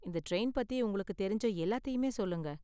இந்த டிரைன் பத்தி உங்களுக்கு தெரிஞ்ச எல்லாத்தையுமே சொல்லுங்க.